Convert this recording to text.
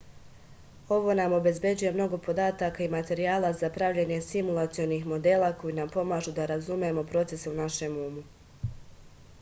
ovo nam obezbeđuje mnogo podataka i materijala za pravljenje simulacionih modela koji nam pomažu da razumemo procese u našem umu